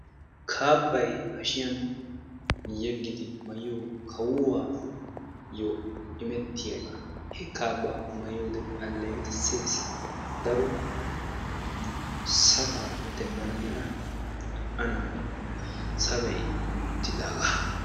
Kaabbay hashshiyaan yegiddi maayiyo kawuwayyo imettiyagaa, he kaabba mayiyode aleeqqissees daro sabaa demmana mala ananni sabay kummi uttidagaa.